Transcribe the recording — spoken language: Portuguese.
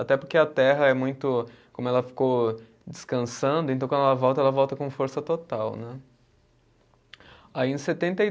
Até porque a terra é muito, como ela ficou descansando, então quando ela volta, ela volta com força total, né? Aí em setenta e